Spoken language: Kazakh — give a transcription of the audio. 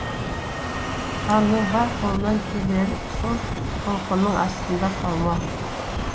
ханның бар қолынан келері сол толқынның астында қалмау